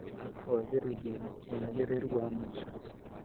Kwagĩrithia wagĩrĩru wa maica: